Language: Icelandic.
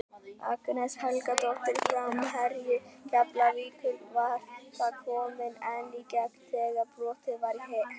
Agnes Helgadóttir framherji Keflavíkur var þá komin ein í gegn þegar brotið var á henni.